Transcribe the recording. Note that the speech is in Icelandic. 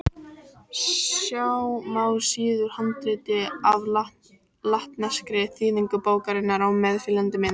Sjá má síðu úr handriti af latneskri þýðingu bókarinnar á meðfylgjandi mynd.